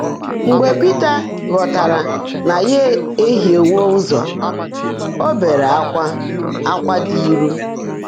Mgbe Pị́tà ghọ́táárá ná yá éhiíewó ụ́zọ́, ó beèrè ákwá ákwá ḍị́ ílù.